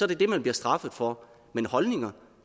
det det man bliver straffet for men holdninger